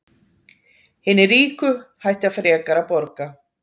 Hinir ríku hætta frekar að borga